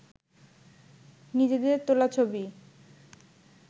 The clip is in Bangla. নিজেদের তোলা ছবি